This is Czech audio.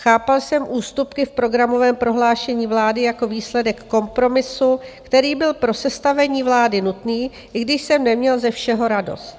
Chápal jsem ústupky v programovém prohlášení vlády jako výsledek kompromisu, který byl pro sestavení vlády nutný, i když jsem neměl ze všeho radost.